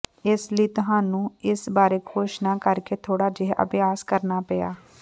ਇਸ ਲਈ ਤੁਹਾਨੂੰ ਇਸ ਬਾਰੇ ਘੋਸ਼ਣਾ ਕਰਕੇ ਥੋੜ੍ਹਾ ਜਿਹਾ ਅਭਿਆਸ ਕਰਨਾ ਪਿਆ